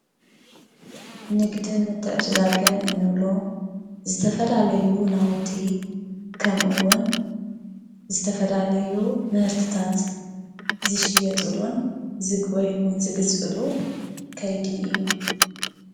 ንግድን ምትዕድዳግን እንብሎ ዝተፈላለዩ ናውቲ ከምኡ እውን ዝተፈላለዩ ምህርትታት ዝሽየጡሉን ወይ ዝግዝኡሉን ከይዲ እዩ።